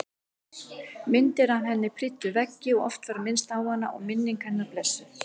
Myndir af henni prýddu veggi og oft var minnst á hana og minning hennar blessuð.